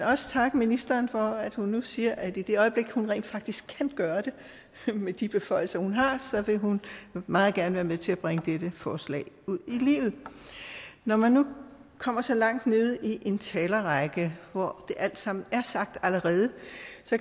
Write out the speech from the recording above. også takke ministeren for at hun nu siger at i det øjeblik hun rent faktisk kan gøre det med de beføjelser hun har så vil hun meget gerne være med til at bringe dette forslag ud i livet når man nu kommer så langt nede i en talerrække hvor det alt sammen er sagt allerede